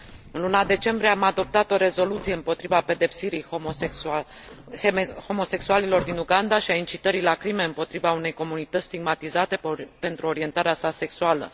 În luna decembrie am adoptat o rezoluție împotriva pedepsirii homosexualilor din Uganda și a incitării la crime împotriva unei comunități stigmatizate pentru orientarea sa sexuală.